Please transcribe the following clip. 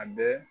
A bɛɛ